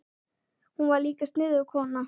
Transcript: Hún var líka sniðug kona.